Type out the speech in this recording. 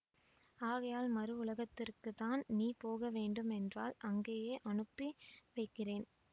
ஆகையால் மறு உலகத்திற்க்குத்தான் நீ போகவேண்டுமென்றால் அங்கேயே அனுப்பி வைக்கிறேன்